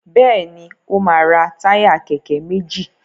Béèni o ma ra Táyà kéké méjì.